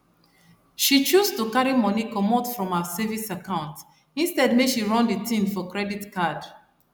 she choose to carry money comot from her savings account instead make she run the thing for credit card